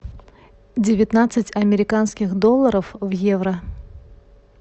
девятнадцать американских долларов в евро